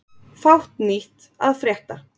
Fátt nýtt að frétta